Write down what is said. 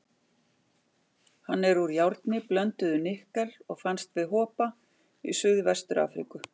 Hann er úr járni, blönduðu nikkel, og fannst við Hopa í Suðvestur-Afríku.